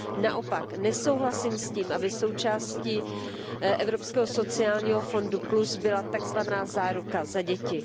Naopak nesouhlasím s tím, aby součástí Evropského sociálního fondu plus byla takzvaná záruka za děti.